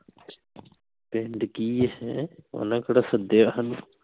ਪਿੰਡ ਕਿ ਹੈ ਹੈਂ ਓਹਨਾ ਕਿਹੜਾ ਸੱਦਿਆ